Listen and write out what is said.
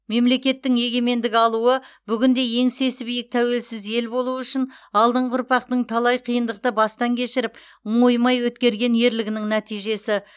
мемлекеттің егемендік алуы бүгінде еңсесі биік тәуелсіз ел болу үшін алдыңғы ұрпақтың талай қиындықты бастан кешіріп мойымай өткерген ерлігінің нәтижесі